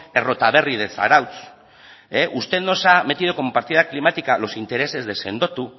errotaberri de zarautz usted nos ha metido como partida climática los intereses de sendotu